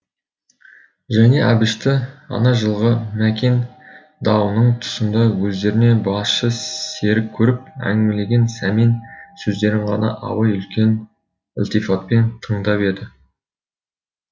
және әбішті ана жылғы мәкен дауының тұсында өздеріне басшы серік көріп әңгімелеген сәмен сөздерін ғана абай үлкен ілтифатпен тыңдап еді